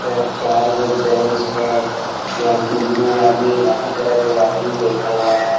यहाँ चार गो बेंच है यहाँ तीन ठो आदमी दो आदमी बैठा हुआ है।